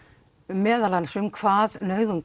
meðal annars um hvað nauðung